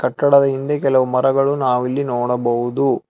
ಕಟ್ಟಡದ ಹಿಂದೆ ಕೆಲವು ಮರಗಳು ನಾವು ಇಲ್ಲಿ ನೋಡಬಹುದು.